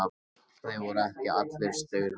Þeir voru ekki allir staurblankir